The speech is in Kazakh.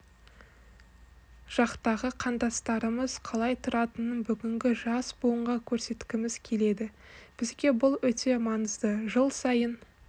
жақтағы қандастарымыз қалай тұратынын бүгінгі жас буынға көрсеткіміз келеді бізге бұл өте маңызды жыл сайын